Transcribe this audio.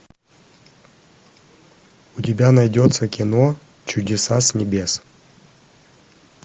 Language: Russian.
у тебя найдется кино чудеса с небес